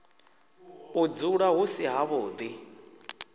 u dzula hu si havhuḓi